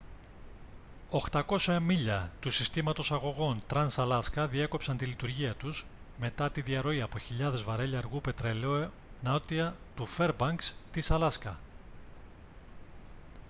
800 μίλια του συστήματος αγωγών trans-alaska διέκοψαν τη λειτουργία τους μετά τη διαρροή από χιλιάδες βαρέλια αργού πετρελαίου νότια του φέρμπανκς της αλάσκα